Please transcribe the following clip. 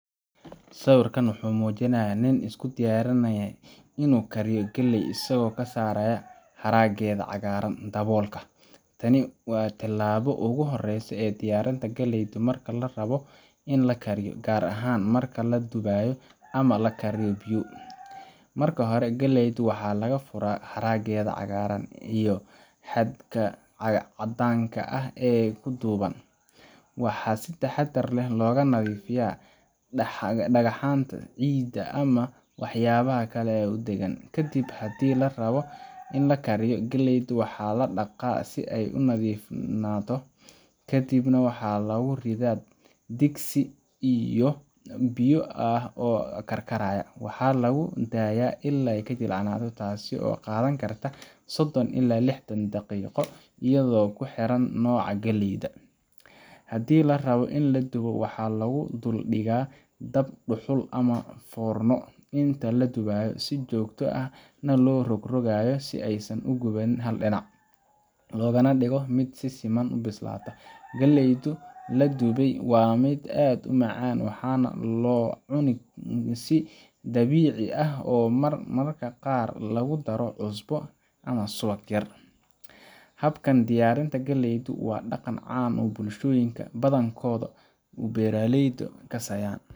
Sawirkan wuxuu muujinayaa nin isku diyaarinaya inuu kariyo galley isagoo ka saaraya haraggeeda cagaaran daboolka. Tani waa tallaabada ugu horreysa ee diyaarinta galleyda marka la rabo in la kariyo, gaar ahaan marka la dubayo ama la kariyo biyo. Marka hore, galleyda waxaa laga furaa haraggeeda cagaaran iyo xadhkaha caddaanka ah ee ku duuban. Waxaa si taxaddar leh looga nadiifiyaa dhagxanta, ciidda ama waxyaabaha kale ee ku dheggan. Kadib, haddii la rabbo in la kariyo, galleyda waa la dhaqaa si ay u nadiifnaato, ka dibna waxaa lagu ridaa digsi biyo ah oo karkaraya. Waxaa lagu daa’ayaa ilaa ay jilcayso, taas oo qaadan karta sodon ilaa lixdan daqiiqo iyadoo ku xiran nooca galleyda. Haddii la rabo in la dubo, waxaa lagu dul dhigaa dab dhuxul ah ama foorno. Inta la dubayo, si joogto ah ayaa loo rogrogayaa si aysan u gubin hal dhinac, loogana dhigo mid si siman u bislaato. Galleyda la dubay waa mid aad u macaan, waxaana loo cunaa si dabiici ah ama mararka qaar lagu daro cusbo yar ama subag. Habkan diyaarinta galleydu waa dhaqan caan ka ah bulshooyinka badankood ee beeraleyda kasayan,